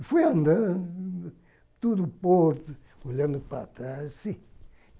E fui andando, todo o porto, olhando para trás, assim.